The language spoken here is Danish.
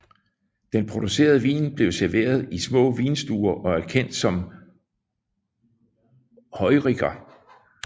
Den producerede vin bliver serveret i små vinstuer og er kendt som Heuriger